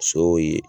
Sow ye